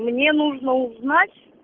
мне нужно узнать